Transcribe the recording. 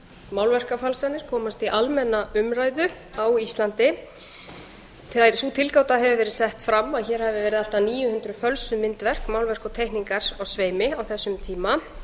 sem málverkafalsanir komast í almenna umræðu á íslandi sú tilgáta hefur verið sett fram að hér hafi verið allt að níu hundruð fölsuð myndverk málverk og teikningar á sveimi á þessum tíma